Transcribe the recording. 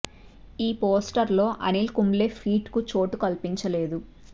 ఈ పోస్టర్ లో అనిల్ కుంబ్లే ఫీట్ కు చోటు కల్పించలేదు